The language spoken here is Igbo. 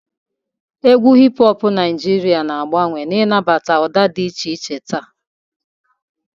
Égwù hip hoọpụ Naijiria na-agbanwe, na-anabata ụda dị iche iche taa.